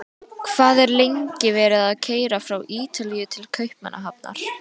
Hvað er lengi verið að keyra frá Ítalíu til Kaupmannahafnar?